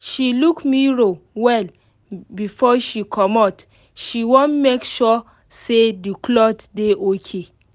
she look mirror well before she comot she wan make sure say the cloth dey okay.